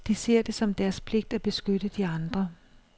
De ser det som deres pligt at beskytte de andre.